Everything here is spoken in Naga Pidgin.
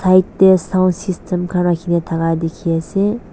tae sound system khan rakhina thaka dikhiase.